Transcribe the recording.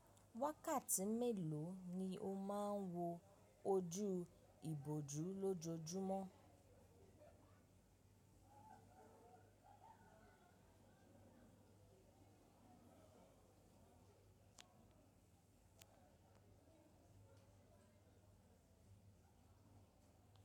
Wákàtí mélòó ni o máa ń wo ojú ìbòjú lójojúmọ́?